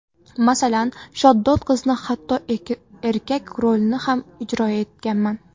Masalan, shaddod qizni, hatto erkak rolini ham ijro etganman.